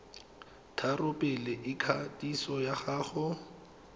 tharo pele ikwadiso ya gago